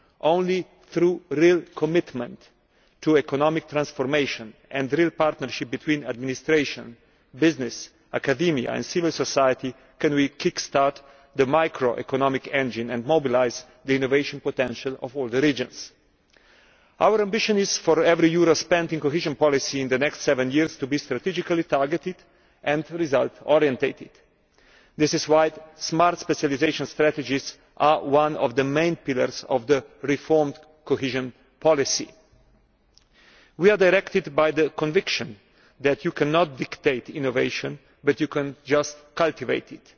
Only through real commitment to economic transformation and real partnership between administration, business, academia and civil society can we kick start the microeconomic engine and mobilise the innovation potential of all the regions. Our ambition is for every euro spent on cohesion policy in the next seven years to be strategically targeted and result oriented. This is why smart specialisation strategies are one of the main pillars of the reformed cohesion policy. We are guided by the conviction that you cannot dictate innovation, you can only cultivate